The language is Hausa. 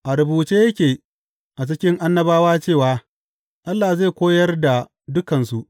A rubuce yake a cikin Annabawa cewa, Allah zai koyar da dukansu.’